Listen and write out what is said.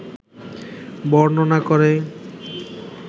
বর্ণনা করে